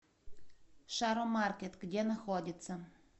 шаромаркет где находится